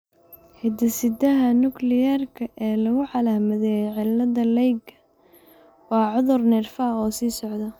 Hidde-sidaha Nukliyeerka ee lagu calaamadeeyay cillada Leighka waa cudur neerfaha oo sii socda.